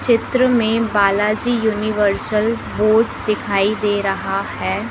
चित्र मे Balaji universal board दिखाई दे रहा है।